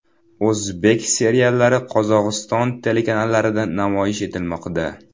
O‘zbek seriallari Qozog‘iston telekanallarida namoyish etilmoqda.